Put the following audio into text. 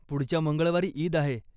पुढच्या मंगळवारी ईद आहे.